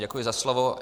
Děkuji za slovo.